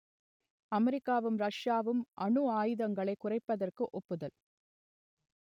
அமெரிக்காவும் ரஷ்யாவும் அணு ஆயுதங்களைக் குறைப்பதற்கு ஒப்புதல்